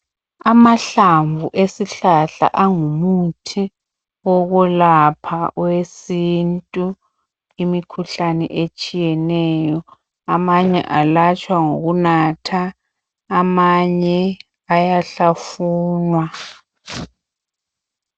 Amahlamvu esihlahla angumuthi wokulapha owesintu imikhuhlane etshiyeneyo amanye alatshwa ngokunatha amanye ayahlafunwa.